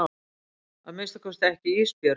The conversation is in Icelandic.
Að minnsta kosti ekki Ísbjörg.